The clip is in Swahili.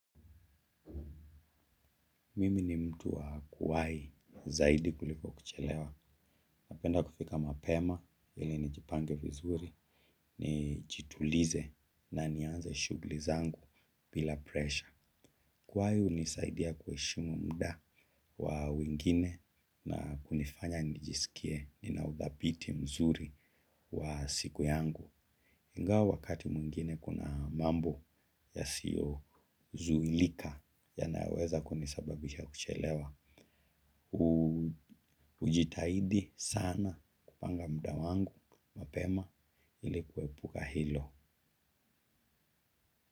Mimi ni mtu wa kuwahi zaidi kuliko kuchelewa. Napenda kufika mapema ili nijipange vizuri. Nijitulize na nianze shughuli zangu bila presha. Kuwai hunisaidia kuheshimu muda wa wengine na kunifanya nijisikie ninauthabiti mzuri wa siku yangu. Ingawa wakati mwingine kuna mambo yasiyozuilika yanaweza kunisababisha kuchelewa. Ujitahidi sana kupanga muda wangu mapema ili kuepuka hilo.